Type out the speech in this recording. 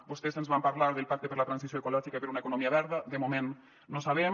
vostès ens van parlar del pacte per la transició ecològica i per una economia verda de moment no sabem